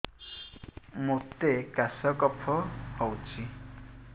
ମୋତେ କାଶ କଫ ହଉଚି